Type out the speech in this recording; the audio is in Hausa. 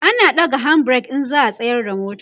ana ɗaga hand break in za'a tsayar da mota